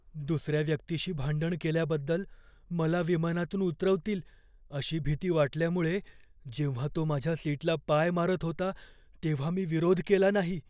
दुसर्या व्यक्तीशी भांडण केल्याबद्दल मला विमानातून उतरवतील अशी भीती वाटल्यामुळे जेव्हा तो माझ्या सीटला पाय मारत होता तेव्हा मी विरोध केला नाही.